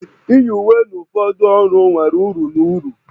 Iyi uwe na ụfọdụ ọrụ nwere uru na uru